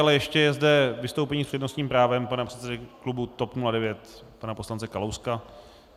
Ale ještě je zde vystoupení s přednostním právem pana předsedy klubu TOP 09 pana poslance Kalouska.